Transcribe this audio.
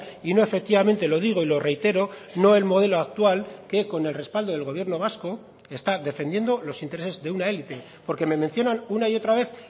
y no efectivamente lo digo y lo reitero no el modelo actual que con el respaldo del gobierno vasco está defendiendo los intereses de una elite porque me mencionan una y otra vez